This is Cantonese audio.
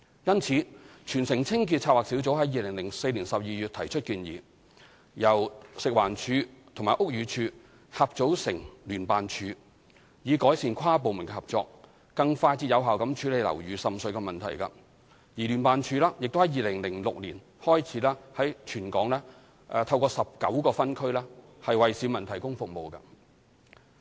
故此，全城清潔策劃小組於2004年12月提出建議，由食物環境衞生署及屋宇署合組成立聯辦處，以改善跨部門合作，更快捷有效地處理樓宇滲水問題；而聯辦處亦在2006年開始在全港透過19個分區為市民提供服務。